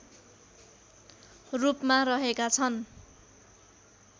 रूपमा रहेका छन्